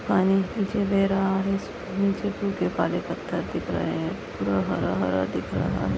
पानी नीचे बह रहा है। इसके नीचे पुरे काले पत्थर दिख रहे है। पूरा हरा-हरा दिख रहा है।